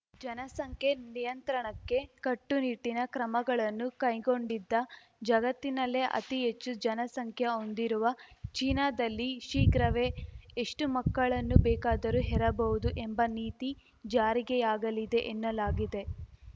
ಜನಸಂಖ್ಯೆ ನಿಯಂತ್ರಣಕ್ಕೆ ಕಟ್ಟುನಿಟ್ಟಿನ ಕ್ರಮಗಳನ್ನು ಕೈಗೊಂಡಿದ್ದ ಜಗತ್ತಿನಲ್ಲೇ ಅತಿಹೆಚ್ಚು ಜನಸಂಖ್ಯೆ ಹೊಂದಿರುವ ಚೀನಾದಲ್ಲಿ ಶೀಘ್ರವೇ ಎಷ್ಟುಮಕ್ಕಳನ್ನು ಬೇಕಾದರೂ ಹೆರಬಹುದು ಎಂಬ ನೀತಿ ಜಾರಿಗೆಯಾಗಲಿದೆ ಎನ್ನಲಾಗಿದೆ